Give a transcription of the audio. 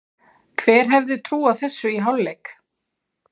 Hver hefði trúað þessu í hálfleik?